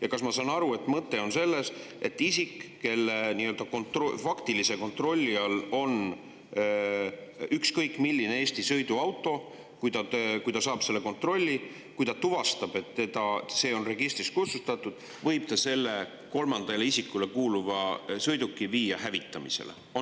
Ja kas ma saan aru, et mõte on selles, et isik, kelle nii-öelda faktilise kontrolli all on ükskõik milline Eesti sõiduauto, kui ta saab selle kontrolli, kui ta tuvastab, et see on registrist kustutatud, võib selle kolmandale isikule kuuluva sõiduki viia hävitamisele?